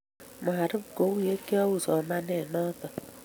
marub kou ya kiu somanet noto